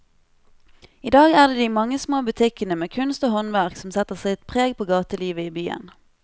I dag er det de mange små butikkene med kunst og håndverk som setter sitt preg på gatelivet i byen.